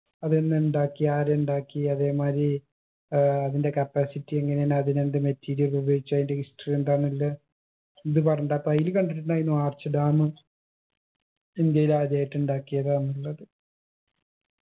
അതെന്ന് ഉണ്ടാക്കി ആര് ഉണ്ടാക്കി അതേമാരി ഏർ അതിന്റെ capacity എങ്ങനേണ് അതിനെന്ത് material ഉപയോഗിച്ചു അയിന്റെ history എന്താന്നില്ലെ ഇത് പറഞ്ഞിണ്ട് അപ്പൊ അയില് കണ്ടിട്ടിണ്ടായിനു arch dam ഇന്ത്യയിൽ ആദ്യായിട്ട് ഉണ്ടാക്കിയതാന്നുള്ളത്